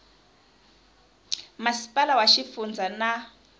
masipala wa xifundza na wa